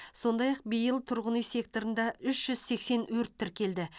сондай ақ биыл тұрғын үй секторында үш жүз сексен өрт тіркелді